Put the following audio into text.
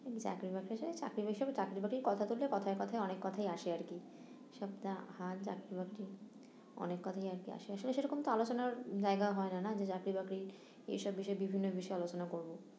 চাকরি বাকরি সে চাকরি বাকরির কথা তুললে কথায় কথায় অনেক কথাই আসে আর কি এসব যা হার চাকরি বাকরির অনেক কথাই আর কি আসে, আসলে সেরকম তো আলোচনার জায়গা হয় না না যে চাকরি বকরির এসব বিষয়ে বিভিন্ন বিষয়ে আলোচনা করবো